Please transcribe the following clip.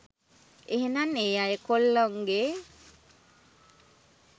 එහෙනං ඒ අය කොල්ලොන්ගෙ